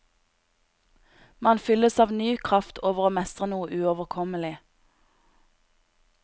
Man fylles av ny kraft over å mestre noe uoverkommelig.